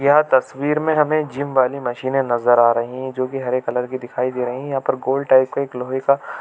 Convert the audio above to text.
यह तस्वीर में हमें जिम वाली मशीनें नज़र आ रही है जोकि हरे कलर की दिखाई दे रही है यहाँ पर गोल टाइप का एक लोहै का --